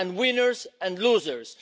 and winners and losers.